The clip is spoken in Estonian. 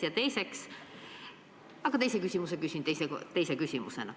Ja teiseks – aga teise küsimuse küsin teise küsimusena.